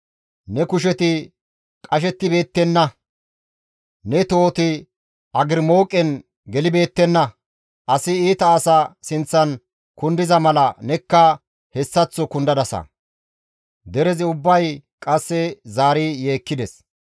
Ne kusheti qashettibeettenna; ne tohoti agrimooqen gelibeettenna; asi iita asa sinththan kundiza mala nekka hessaththo kundadasa.» Derezi ubbay qasse zaari yeekkides.